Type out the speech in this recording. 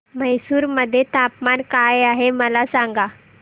म्हैसूर मध्ये तापमान काय आहे मला सांगा